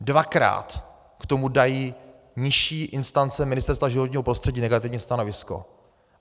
Dvakrát k tomu dají nižší instance Ministerstva životního prostředí negativní stanovisko.